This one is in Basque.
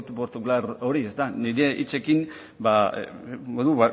partikular hori ez da nire hitzekin